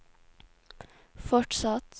fortsatt